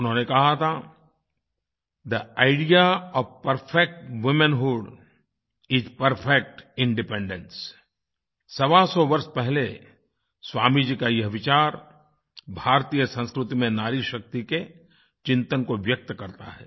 उन्होंने कहा था थे idea of perfect womanhood is perfect independence सवासौ वर्ष पहले स्वामी जी का यह विचार भारतीय संस्कृति में नारी शक्ति के चिंतन को व्यक्त करता है